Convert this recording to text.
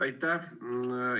Aitäh!